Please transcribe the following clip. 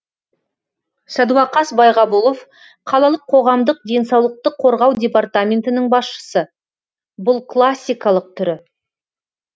сәдуақас байғабұлов қалалық қоғамдық денсаулықты қорғау департаментінің басшысы бұл классикалық түрі